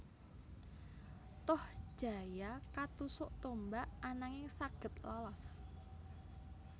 Tohjaya katusuk tombak ananging saged lolos